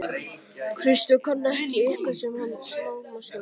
Kristján: Kann hann eitthvað á smalamennskuna?